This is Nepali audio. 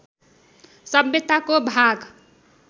सभ्यताको भाग